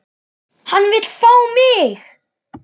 Hann vill fá mig.